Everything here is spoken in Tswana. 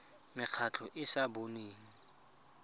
mekgatlho e e sa boneng